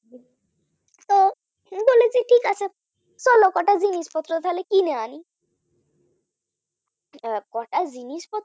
জিনিসপত্র তাহলে কিনে আনি কটা তো জিনিস